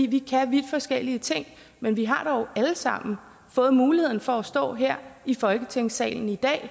vi kan vidt forskellige ting men vi har dog alle sammen fået muligheden for at stå her i folketingssalen i dag og